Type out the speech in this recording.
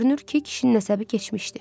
Görünür ki, kişinin əsəbi keçmişdi.